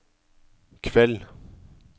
kveld